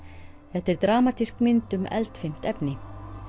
þetta dramatísk mynd um eldfimt efni